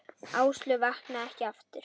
Áslaug vaknaði ekki aftur.